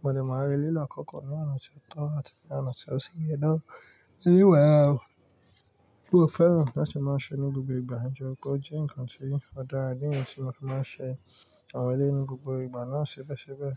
Mo dẹ̀ máa rí lílo àkọ́kọ́ ní oná tí ó tọ́ àti ní oná tí ó sì yẹ ná. Eré wà o, mo fẹ́ràn láti máa ṣe ní gbogbo ìgbà, nitori pe o je ǹkan tí ó dára, idi níyi tí mo fi máa ń ṣe àwọn eré ní gbogbo ìgbà náà ṣébẹ̀ṣebẹ̀